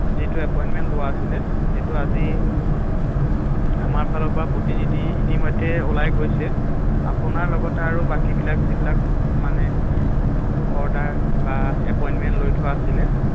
যিটো এপইন্টমেন্ট লোৱা আছিলে সেইটো আজি আমাৰ ফালৰ পৰা প্ৰতিনিধি ইতিমধ্য ওলাই গৈছে আপোনাৰ লগতে আৰু বাকী বিলাক যিবিলাক মানে অৰ্ডাৰ বা এপইন্টমেন্ট লৈ থোৱা আছিলে ৷